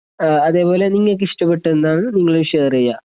ആ അതേപോലെ നിങ്ങൾക്ക് ഇഷ്ടപെട്ടതെന്താണെന്നു നിങ്ങളും ഷെയറ് ചെയ്യാ.